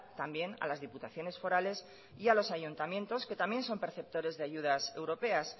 también a las diputaciones forales y a los ayuntamientos que también son perceptores de ayudas europeas